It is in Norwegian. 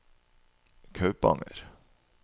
Kaupanger